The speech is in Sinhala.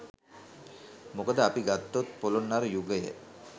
මොකද අපි ගත්තොත් පොළොන්නරු යුගය